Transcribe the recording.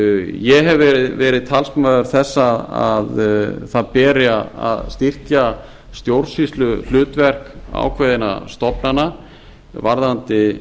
ég hef verið talsmaður þess að það beri að styrkja stjórnsýsluhlutverk ákveðinna stofnana varðandi